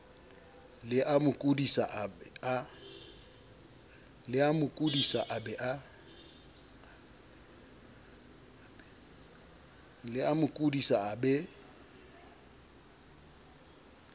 le amo kodisa a be